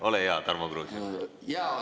Ole hea, Tarmo Kruusimäe!